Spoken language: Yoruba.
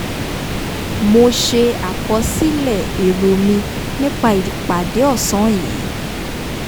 mo ṣe àkọsílẹ̀ èrò mi nípa ìpàdé ọ̀sán yìí